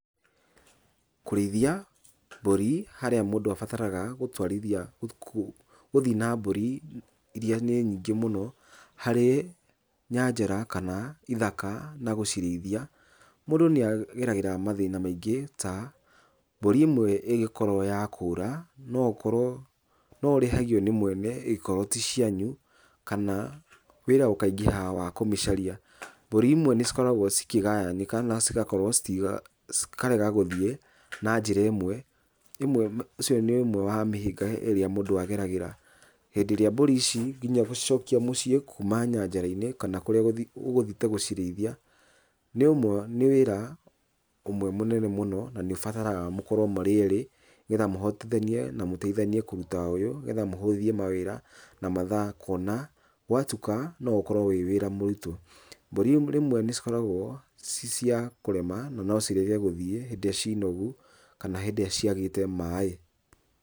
Kũrĩithia mbũri harĩa mũndũ abataraga gũtwarithia gũthiĩ na mbũri iria nĩ nyingĩ mũno harĩ nyanjara kana ithaka na gũcirĩithia. Mũndũ nĩ ageragĩra mathĩna maingíĩ ta mbũri ĩmwe ĩngĩkorwo ya kũra no ũkorwo, no ũrĩhagio nĩ mwene angĩkorwo ti cianyu kana wĩra ũkaingĩha wa kũmĩcaria. Mbũri imwe nĩ cikoragwo cikĩgayanĩka na cigakorwo cikarega gũthiĩ na njĩra ĩmwe, ũcio nĩ ũmwe wa mĩhĩnga ĩrĩa mũndũ ageragĩra. Hindĩ ĩrĩa mbũri ici nginya gũcokia mũciĩ kuma nyanjara-inĩ kana kũrĩa ũgũthiĩte gũciriithia nĩ ũmwe nĩ wĩra ũmwe mũnene mũno na nĩ ũbataraga mũkorwo mũrĩ erĩ nĩ getha mũhotithanie na mũteithanie kũruta ũyũ. Nĩ getha mũhũthie mawĩra na mathaa kuona gwatuka no ũkorwo wĩ wĩra mũritũ. Mbũri rĩmwe nĩ cikoragwo ci cia kũrema na no cirege gũthiĩ hĩndĩ ĩrĩa cinogu kana hĩndĩ ĩrĩa ciagĩte maaĩ.